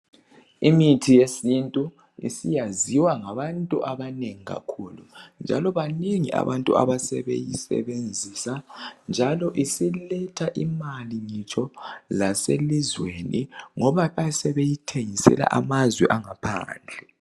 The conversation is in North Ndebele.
Imithi yesintu isiyaziwa ngabantu abanengi kakhulu njalo banengi abantu asebeyisebenzisa njalo isiletha imali ngitsho laselizweni ngoba bayabe sebeyithengisela amazwe angaphandle